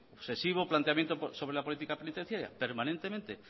obsesivo planteamiento sobre la política penitenciaria permanentemente